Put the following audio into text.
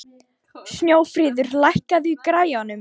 Snjófríður, lækkaðu í græjunum.